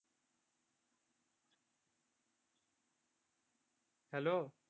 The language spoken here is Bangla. Hello